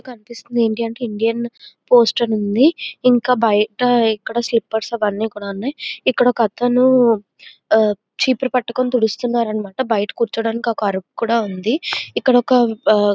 ఇక్కడ కనిపిస్తుంది మనకి ఇండియన్ పోస్ట్ అని ఇక్కడ ఒక అతను చీపురు పట్టుకొని తుడుస్తున్నాడు. బయట కూర్చోడానికి ఒక ఆరుకు కూడా ఉంది.